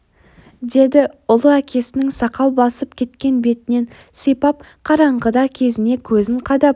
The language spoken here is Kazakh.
деді ұлы әкесінің сақал басып кеткен бетінен сипап қараңғыда кезіне көзін қадап